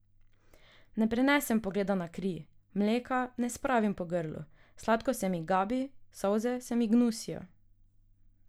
Ne prenesem pogleda na kri, mleka ne spravim po grlu, sladko se mi gabi, solze se mi gnusijo.